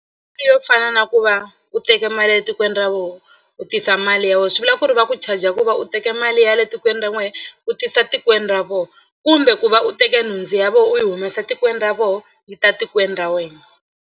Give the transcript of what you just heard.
Yo fana na ku va u teke mali ya le tikweni ra voho u tisa mali ya wena swi vula ku ri va ku charger ku va u teke mali ya le tikweni ra n'wehe u tisa tikweni ra vona kumbe ku va u teke nhundzu ya vona u yi humesa tikweni ra vona yi ta tikweni ra wena.